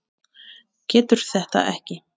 Getur þetta ekki.